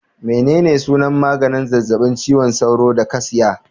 Menene sunan maganin zazzabin cizon sauro da ka siya